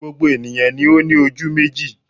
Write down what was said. Gbogbo ènìyàn ni ó ní ojú méjì